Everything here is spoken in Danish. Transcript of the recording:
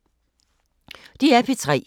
DR P3